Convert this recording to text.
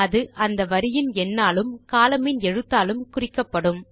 அது அந்த வரியின் எண்ணாலும் columnமின் எழுத்தாலும் குறிக்கப்படும்